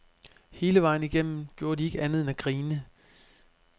Hele vejen igennem gjorde de ikke andet end at grine.